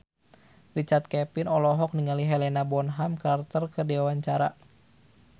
Richard Kevin olohok ningali Helena Bonham Carter keur diwawancara